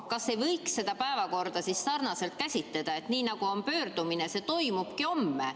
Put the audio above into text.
Kas ei võiks seda päevakorda käsitleda selliselt, et nii nagu on pöördumine, see toimubki homme?